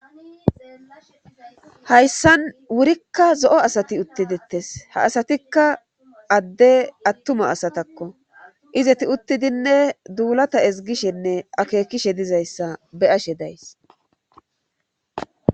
hayssan wurikka zo7o asati utti dettes ha asatikka adde attuma asatakko izeti uttidinne duulata ezgishenne akeekishe dizayssa be ashe days